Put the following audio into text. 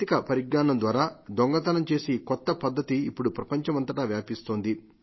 సాంకేతిక పరిజ్ఞానం ద్వారా దొంగతనం చేసే ఈ కొత్త పద్ధతి ఇప్పుడు ప్రపంచమంతటా వ్యాపిస్తోంది